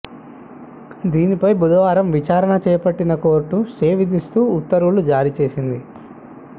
దీనిపై బుధవారం విచారణ చేపట్టిన కోర్టు స్టే విధిస్తూ ఉత్తర్వులు జారీ చేసింది